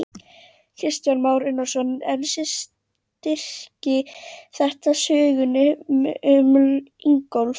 Kristján Már Unnarsson: En styrkir þetta sögnina um Ingólf?